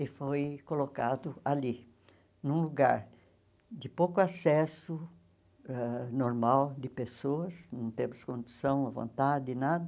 E foi colocado ali, num lugar de pouco acesso ãh normal de pessoas, não temos condução à vontade, nada.